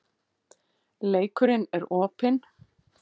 Leikurinn er opinn